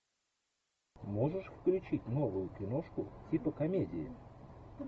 можешь включить новую киношку типа комедии